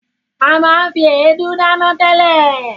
A máa ń fi èédú dáná tẹ́lẹ̀.